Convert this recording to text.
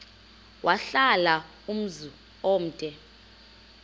wahlala umzum omde